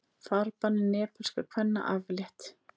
Farbanni nepalskra kvenna aflétt